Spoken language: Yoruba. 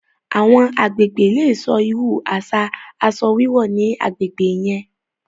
Awọn agbègbè lè sọ̀ irú aṣa aṣọ wíwọ̀ ní agbègbè yẹn